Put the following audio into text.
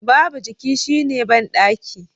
Babu jiki shine bandaki